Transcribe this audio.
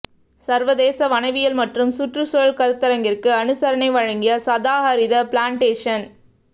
சர்வதேச வனவியல் மற்றும் சுற்றுச்சூழல் கருத்தரங்கிற்கு அனுசரணை வழங்கிய சதாஹரித பிளாண்டேஷன்